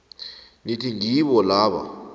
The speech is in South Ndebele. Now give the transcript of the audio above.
nithi ngibo laba